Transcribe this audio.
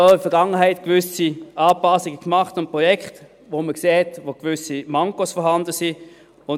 Man hat in der Vergangenheit auch gewisse Anpassungen am Projekt gemacht, wo man sah, dass gewisse Mankos vorhanden waren.